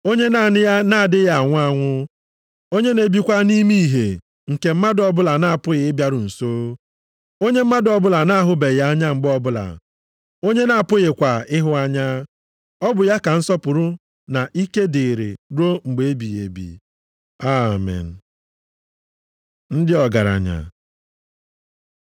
Onye naanị ya na-adịghị anwụ anwụ. Onye na-ebikwa nʼime ìhè nke mmadụ ọbụla na-apụghị ịbịaru nso. Onye mmadụ ọbụla na-ahụbeghị anya mgbe ọbụla, onye a na-apụghịkwa ịhụ anya. Ọ bụ ya ka nsọpụrụ na ike dịrị ruo mgbe ebighị ebi. Amen. Ndị ọgaranya